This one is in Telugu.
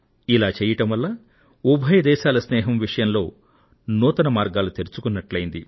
ఇలా చేయడం వల్ల ఉభయ దేశాల స్నేహం విషయంలో కొత్త అంశాన్ని జోడించినట్లయింది